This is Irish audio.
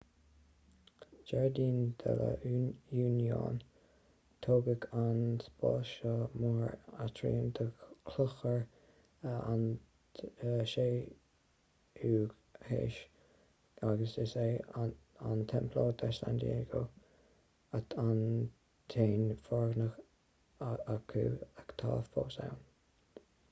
jardín de la unión tógadh an spás seo mar aitriam do chlochar 17ú haois agus is é an templo de san diego an t-aon fhoirgneamh acu atá fós ann